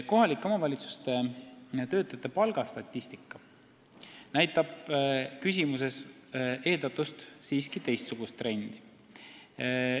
Kohalike omavalitsuste töötajate palga statistika näitab siiski küsimuses eeldatust teistsugust trendi.